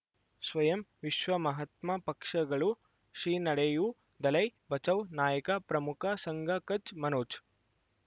ಸ್ವಯಂ ವಿಶ್ವ ಮಹಾತ್ಮ ಪಕ್ಷಗಳು ಶ್ರೀ ನಡೆಯೂ ದಲೈ ಬಚೌ ನಾಯಕ ಪ್ರಮುಖ ಸಂಘ ಕಚ್ ಮನೋಜ್